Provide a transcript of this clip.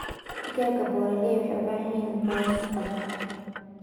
Digaagga broiler waxay u baahan yihiin boos badan.